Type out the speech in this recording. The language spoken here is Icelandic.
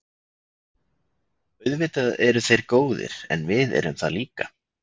Auðvitað eru þeir góðir en við erum það líka.